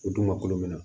O dun ma kulo minɛ